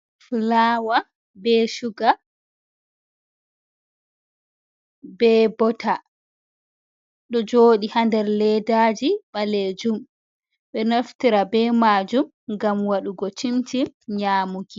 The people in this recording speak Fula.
Fulawa be suga be bota ɗo joɗi ha nder leddaji ɓalejum. Ɓeɗo naftira be majum ngam waɗugo cim-cim nyamuki.